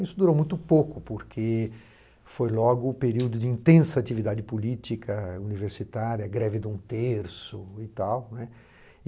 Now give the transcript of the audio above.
Isso durou muito pouco, porque foi logo o período de intensa atividade política, universitária, greve do um terço e tal, né?